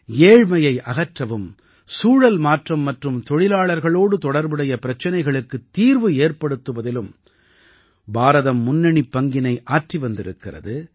ஏழ்மையை அகற்றவும் சூழல் மாற்றம் மற்றும் தொழிலாளர்களோடு தொடர்புடைய பிரச்சனைகளுக்குத் தீர்வு ஏற்படுத்துவதிலும் பாரதம் முன்னணிப் பங்கினை ஆற்றி வந்திருக்கிறது